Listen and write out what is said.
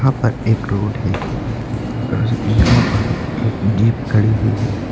यहां पर एक रोड है और यहां पर एक जीप खड़ी हुई है।